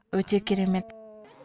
өте керемет